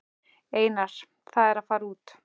Einar: Það er að fara út.